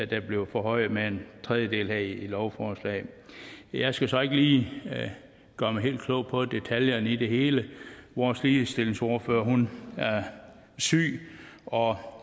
der bliver forhøjet med en tredjedel her i lovforslaget jeg skal så ikke lige gøre mig helt klog på detaljerne i det hele vores ligestillingsordfører er syg og